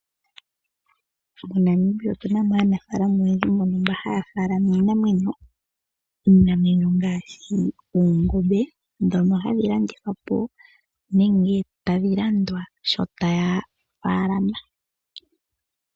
MoNamibia otu na mo aanafalama oyendji mboka haya faalama iinamwenyo, iinamwenyo ngaashi oongombe ndhono hadhi landithwa po nenge tadhi landwa shi taya faalama.